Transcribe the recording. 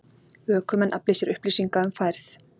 Ökumenn afli sér upplýsinga um færð